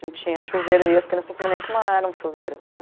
Não tinha chuveiro e as crianças não sabiam nem como era um chuveiro.